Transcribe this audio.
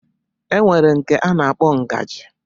E nwere nke a na-akpọ ngaji